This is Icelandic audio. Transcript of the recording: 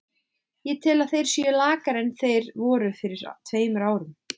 Ég tel að þeir séu lakari en þeir voru fyrir tveimur árum.